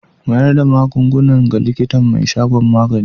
Mayar da magungunan ga likitan mai shagon magani.